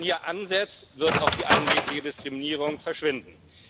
Wenn man hier ansetzt, wird auch die angebliche Diskriminierung verschwinden.